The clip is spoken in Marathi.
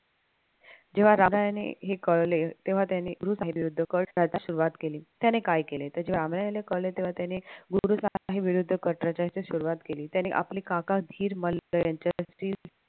जेव्हा हे कळले तेव्हा त्याने कट घ्यायला सुरुवात केली त्याने काय केले तेव्हा त्याने कट रचायला सुरुवात केली त्याने आपले काका यांच्याशी